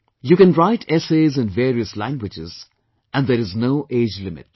You can write essays in various languages and there is no age limit